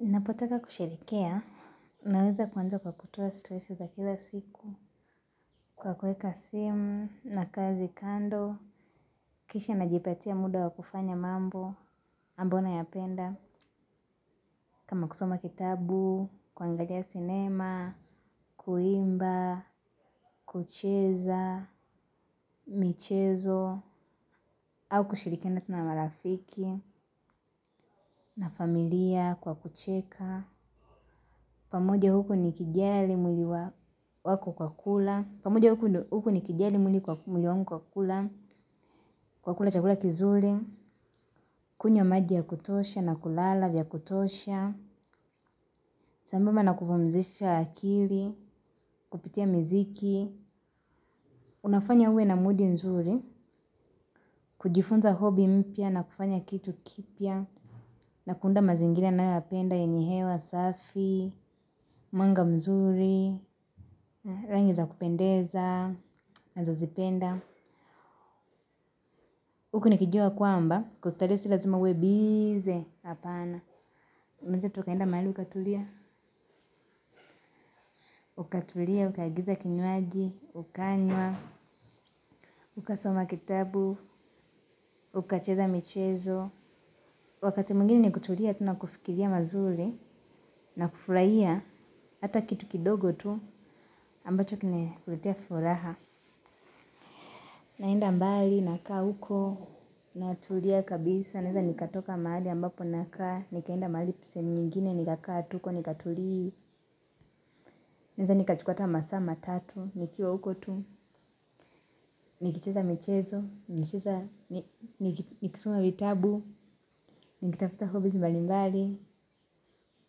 Napotaka kusherehekea, naweza kuanza kwa kutoa stressi za kila siku, kwa kuweka simu na kazi kando, kisha na jipatia muda wa kufanya mambo, ambayo na ya penda, kama kusoma kitabu, kuangalia sinema, kuimba, kucheza, michezo, au kushirikiana tunamarafiki, na familia kwa kucheka. Pamoja huku ni kijali mwili wako kwa kula pamoja huku ndio ni ni kijali mwili wangu kwa kula. Kwa kula chakula kizuri. Kunywa maji ya kutosha na kulala vya kutosha. Sambamba na kupumzisha akili kupitia miziki. Unafanya uwe na mudi nzuri. Kujifunza hobby mpya na kufanya kitu kipya na kuunda mazingira nayoyapenda yenye hewa safi Manga mzuri. Rangiza kupendeza. Nazo zipenda hukunikijua kwamba kustarehe si lazima uwe busy. Apana unaweza tu ukaenda mahali ukatulia. Ukatulia, ukagiza kinywaji. Ukanywa, ukasoma kitabu. Ukacheza michezo. Wakati mwgine ni kutulia tu nakufikiria mazuri na kufurahia hata kitu kidogo tu ambacho kimekuletea furaha. Naenda mbali nakaa huko. Natulia kabisa. Naweza nikatoka mahali ambapo nakaa. Nikaenda mahali sehemu nyingine, nikakaa tu huko, nikatulia. Naweza nikachukua hata masaa matatu, nikiwa huko tu. Nikicheza michezo, nikisoma vitabu. Nikitafuta hobby mbali mbali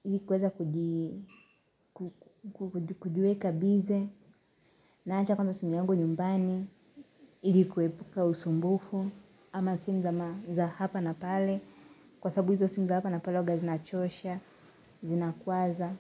ili kuweza kujiweka busy. Naacha kwanza simu yangu nyumbani ili kuepuka usumbufu ama simu za ma za hapa na pale. Kwa sababu hizo simu za hapa na pale huwaga zinachosha, zinakwaza.